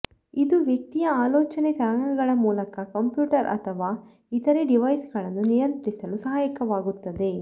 ಇದು ವ್ಯಕ್ತಿಯ ಆಲೋಚನೆ ತರಂಗಗಳ ಮೂಲಕ ಕಂಪ್ಯೂಟರ್ ಅಥವಾ ಇತರೆ ಡಿವೈಸ್ಗಳನ್ನು ನಿಯಂತ್ರಿಸಲು ಸಹಾಯಕವಾಗುತ್ತದೆ